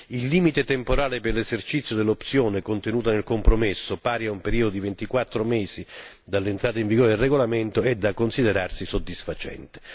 Il limite temporale per l'esercizio dell'opzione contenuta nel compromesso, pari a un periodo di 24 mesi dall'entrata in vigore del regolamento, è da considerarsi soddisfacente.